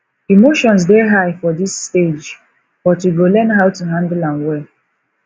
emotions dey high for this stage but we go learn how to handle am well